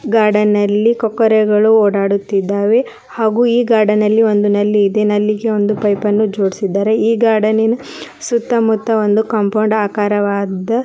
Garden ನಲ್ಲಿ ಕೊಕ್ಕರೆ ಗಳು ಓಡಾಡುತ್ತಿದ್ದವೇ ಹಾಗು ಈ ಗಾರ್ಡನ್ ನಲ್ಲಿ ಒಂದು ನಲ್ಲಿ ಇದೆ ನಲ್ಲಿಗೆ ಒಂದು ಪೈಪ್ ಯನ್ನು ಜೋಡಿಸಿದ್ದಾರೆ ಈ ಗಾರ್ಡನ್ ನಿನ ಸುತ್ತ ಮುತ್ತ ಒಂದು ಕಾಂಪೌಂಡ್ ಆಕರವಾದ.